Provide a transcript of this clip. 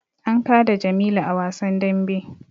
An kada jamilu a wasan dambe